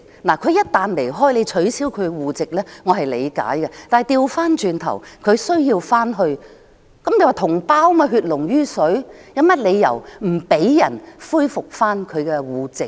他們一旦離開，內地政府取消其戶籍，我是理解的，但反過來，當他們想返回內地，既然是同胞，血濃於水，有何理由不讓他們恢復其戶籍呢？